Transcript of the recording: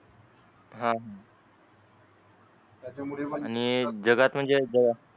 हान आणि जगात म्हणजे